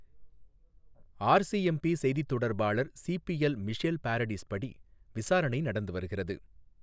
RCMP செய்தித் தொடர்பாளர் CPL, Michelle Paradis படி, விசாரணை நடந்து வருகிறது.